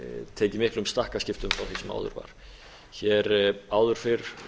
tekið miklum stakkaskiptum frá því sem áður var áður fyrr